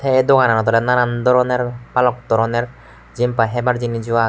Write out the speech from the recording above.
e dugananot nanan doronor baluk doronor jempai hebar jeniso aage.